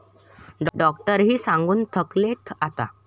डॉक्टरही सांगून थकलेत आता.